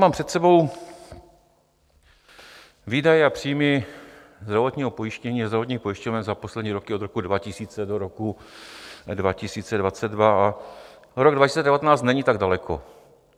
Mám před sebou výdaje a příjmy zdravotního pojištění a zdravotních pojišťoven za poslední roky od roku 2000 do roku 2022 a rok 2019 není tak daleko.